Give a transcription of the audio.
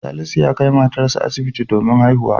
Salisu ya kai matarsa asibiti domin haihuwa.